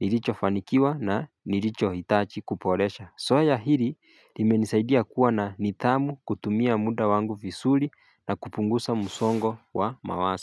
nilichofanikiwa na nilichohitaji kuboresha. Zoea hili limenisaidia kuwa na nidhamu kutumia muda wangu vizuri na kupunguza musongo wa mawazo.